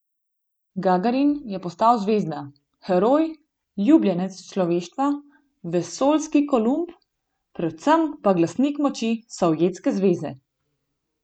Gagarin je postal zvezda, heroj, ljubljenec človeštva, vesoljski Kolumb, predvsem pa glasnik moči Sovjetske zveze.